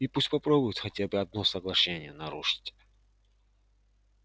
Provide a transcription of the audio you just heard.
и пусть попробует хотя бы одно соглашение нарушить